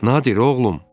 Nadir, oğlum!